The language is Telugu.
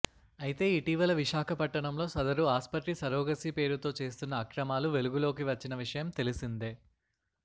అయితే ఇటీవల విశాఖపట్టణంలో సదరు ఆస్పత్రి సరోగసీ పేరుతో చేస్తున్న అక్రమాలు వెలుగులోకి వచ్చిన విషయం తెలిసిందే